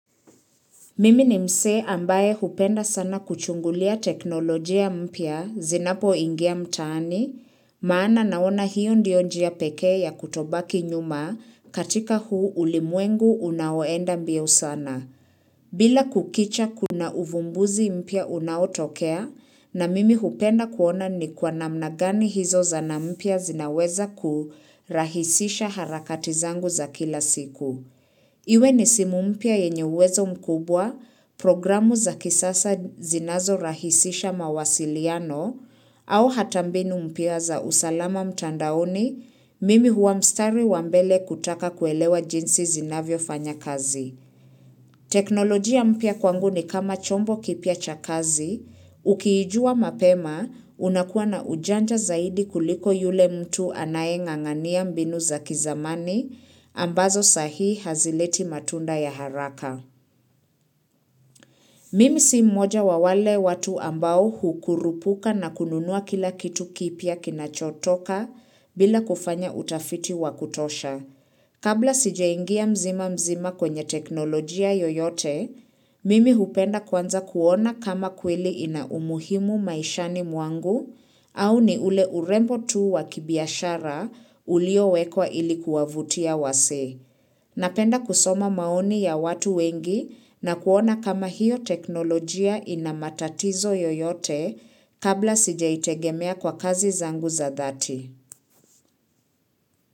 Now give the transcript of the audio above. Mimi ni msee ambaye hupenda sana kuchungulia teknolojia mpya zinapoingia mtaani, maana naona hiyo ndio njia pekee ya kutobaki nyuma katika huu ulimwengu unaoenda mbio sana. Kila kukicha kuna uvumbuzi mpya unaotokea na mimi hupenda kuona ni kwa namna gani hizo zana mpya zinaweza kurahisisha harakati zangu za kila siku. Iwe ni simu mpya yenye uwezo mkubwa programu za kisasa zinazo rahisisha mawasiliano au hata mbinu mpya za usalama mtandaoni mimi huwa mstari wa mbele kutaka kuelewa jinsi zinavyofanya kazi. Teknolojia mpya kwangu ni kama chombo kipya cha kazi, ukiijua mapema unakuwa na ujanja zaidi kuliko yule mtu anaye ngangania mbinu za kizamani ambazo sahi hazileti matunda ya haraka. Mimi si mmoja wa wale watu ambao hukurupuka na kununua kila kitu kipya kinachotoka bila kufanya utafiti wakutosha. Kabla sijaingia mzima mzima kwenye teknolojia yoyote, mimi hupenda kwanza kuona kama kweli ina umuhimu maishani mwangu au ni ule urembo tuu wakibiashara uliowekwa ilikuwa vutia wasi. Napenda kusoma maoni ya watu wengi na kuona kama hiyo teknolojia ina matatizo yoyote kabla sijaitegemea kwa kazi zangu za dhati.